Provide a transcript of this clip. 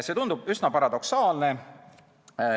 See tundub üsna paradoksaalne.